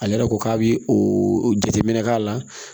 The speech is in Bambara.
Ale yɛrɛ ko k'a bi o jateminɛ k'a la